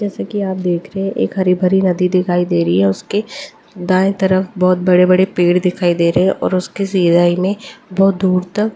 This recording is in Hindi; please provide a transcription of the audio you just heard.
जैसा कि आप देख रहे हैं एक हरी भरी नदी दिखाई दे रही है उसके दाएं तरफ बहुत बड़े-बड़े पेड़ दिखाई दे रहे हैं और उसके सीधाई में बहुत दूर तक--